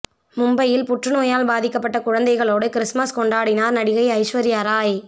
மும்பையில் புற்றுநோயால் பாதிக்கப்பட்ட குழந்தைகளோடு கிறிஸ்துமஸ் கொண்டாடினார் நடிகை ஐஸ்வர்யா ராய்